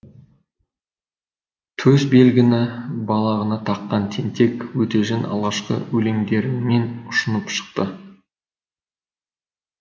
төсбелгіні балағына таққан тентек өтежан алғашқы өлеңдерімен ұшынып шықты